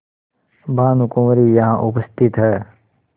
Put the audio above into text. भानुकुँवरि यहाँ उपस्थित हैं